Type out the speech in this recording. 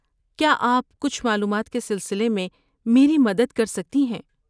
کیا آپ کچھ معلومات کے سلسلے میں میری مدد کر سکتی ہیں؟